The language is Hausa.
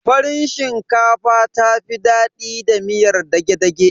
Farin shinkafa ta fi daɗi da miyar dage-dage.